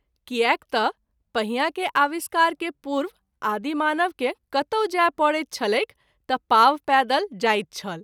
कियाक त’ पहिया के आविष्कार के पूर्व आदि मानव के कतौ जाय परैत छलैक त’ पाँव पैदल जाइत छल।